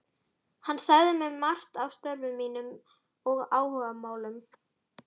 Hann sagði mér margt af störfum sínum og áhugamálum.